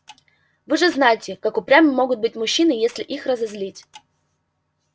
вы же знаете как упрямы могут быть мужчины если их разозлить